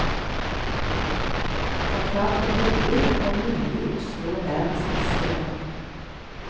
Forklarte rolig at det var mulig å slå verdens beste lag.